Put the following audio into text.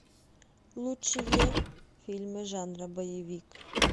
лучшие фильмы жанра боевик